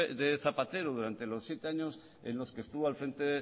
de zapatero durante los siete años en los que estuvo al frente